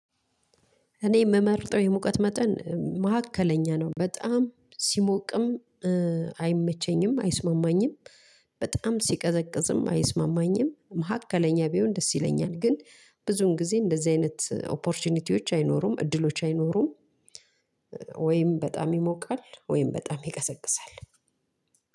እኔ የምመርጠው የሙቀት መጠን መካከለኛ ነው በጣም ሲሞቅም አይመቸኝም አይስማማኝም። በጣም ሲቀዘቅዝም አይስማማኝም መካከለኛ ቢሆን ደስ ይለኛል። ግን ብዙን ጊዜ እንደዚህ አይነት ኦፖርቹኒቲዎች አይኖሩም እድሎች አይኖሩም። ወይም በጣም ይሞቃል ወይም በጣም ይቀዘቅዛል።